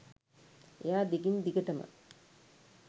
එයා දිගින් දිගටම